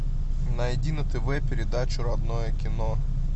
найди на тв передачу родное кино